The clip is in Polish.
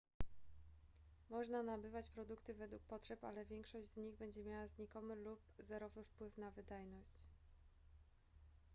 można nabywać produkty według potrzeb ale większość z nich będzie miała znikomy lub zerowy wpływ na wydajność